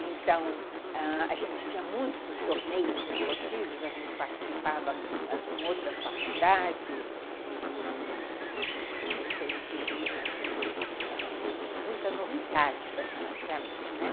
Então, ãh, a gente tinha muitos torneios esportivos, a gente participava com outras faculdades, e... e foi um período de muita novidade para mim, né.